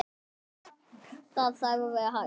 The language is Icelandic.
Það þarf að vera hægt.